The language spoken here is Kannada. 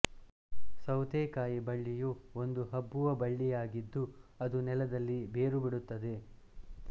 ಸೌತೆಕಾಯಿ ಬಳ್ಳಿಯು ಒಂದು ಹಬ್ಬುವ ಬಳ್ಳಿಯಾಗಿದ್ದು ಅದು ನೆಲದಲ್ಲಿ ಬೇರುಬಿಡುತ್ತದೆ